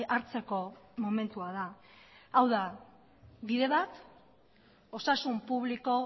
hartzeko momentua da hau da bide bat osasun publiko